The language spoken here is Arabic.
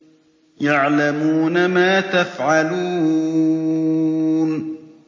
يَعْلَمُونَ مَا تَفْعَلُونَ